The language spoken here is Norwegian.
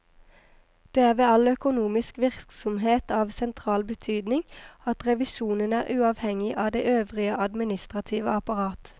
Det er ved all økonomisk virksomhet av sentral betydning at revisjonen er uavhengig av det øvrige administrative apparat.